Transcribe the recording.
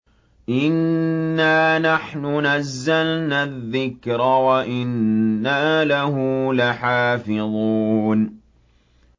إِنَّا نَحْنُ نَزَّلْنَا الذِّكْرَ وَإِنَّا لَهُ لَحَافِظُونَ